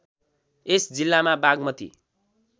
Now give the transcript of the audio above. यस जिल्लामा बागमती